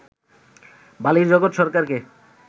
বালির জগৎ সরকারকে